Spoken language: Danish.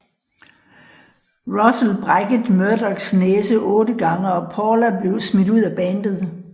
Russel brækket Murdocs næse otte gange og Paula blev smidt ud af bandet